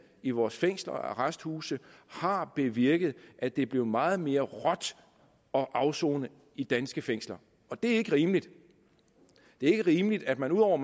i vores fængsler og arresthuse har bevirket at det er blevet meget mere råt at afsone i danske fængsler og det er ikke rimeligt det er ikke rimeligt at man ud over